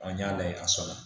An y'a layɛ a sɔnna